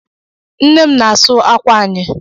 Nnem n'asu ákwà anyị.